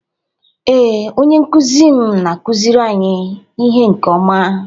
Ee, onye nkuzi m na-akụziri anyị ihe nke ọma